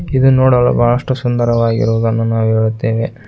ಇದು ನೋಡಲು ಬಹಳಷ್ಟು ಸುಂದರವಾಗಿರುವುದನ್ನು ನಾವು ಹೇಳುತ್ತೇವೆ.